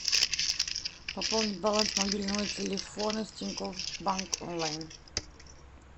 пополнить баланс мобильного телефона с тинькофф банк онлайн